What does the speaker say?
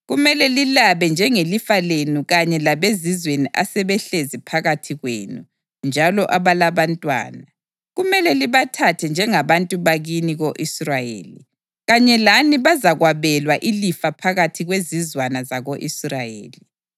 Kumele lilabe njengelifa lenu kanye labezizweni asebehlezi phakathi kwenu njalo abalabantwana. Kumele libathathe njengabantu bakini ko-Israyeli; kanye lani bazakwabelwa ilifa phakathi kwezizwana zako-Israyeli.